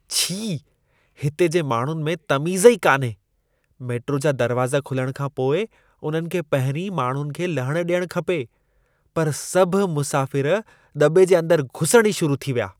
छी! हिते जे माण्हुनि में तमीज़ ई कान्हे। मेट्रो जा दरवाज़ा खुलण खां पोइ उन्हनि खे पहिरीं माण्हुनि खे लहण ॾियण खपे। पर सभु मुसाफ़िर दॿे जे अंदर घुसण ई शुरु थी विया।